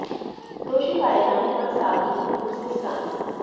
दोषी पाए जाए जाने पर सार्वजनिक रूप से इस्लामी